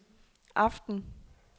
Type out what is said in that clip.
aften